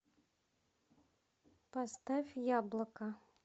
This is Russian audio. поставь яблоко